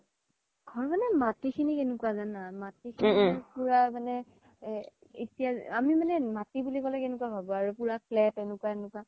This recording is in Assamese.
ঘৰ মানে মাতি খিনি কেনেকুৱা জানা মাতি খিনি পুৰা মানে এ আমি মানে মাতি বুলি ক্'লে কেনেকুৱা ভাবো পুৰা flat এনেকুৱা এনেকুৱা